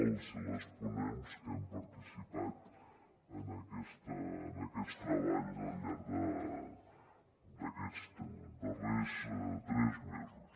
els i les ponents que hem participat en aquests treballs al llarg d’aquests darrers tres mesos